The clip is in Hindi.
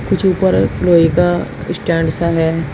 कुछ ऊपर लोहे का स्टैंड सा है।